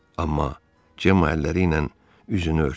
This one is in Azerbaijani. Amma Cemma əlləri ilə üzünü örtdü.